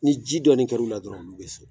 Ni ji dɔɔnin kɛra u la dɔrɔnw, olu bɛ se